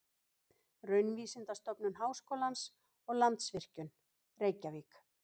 Raunvísindastofnun Háskólans og Landsvirkjun, Reykjavík.